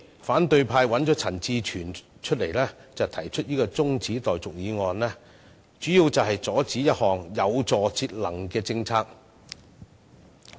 反對派的陳志全議員提出辯論中止待續議案，主要原因是為了阻止一項有助節能的政策。